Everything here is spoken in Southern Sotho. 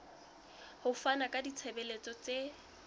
ho fana ka ditshebeletso tse